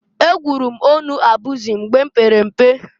Egwuru m ọnụ abụzị mgba m pere mpe.